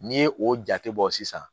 N'i ye o jate bɔ sisan